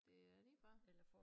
Det er lige før